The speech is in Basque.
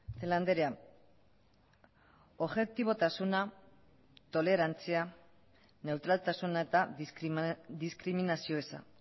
celaá andrea objetibotasuna tolerantzia neutraltasuna eta diskriminazio eza